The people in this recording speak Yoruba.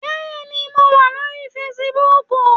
Bẹ́ẹ̀ni mo wà lórí fesibúùkù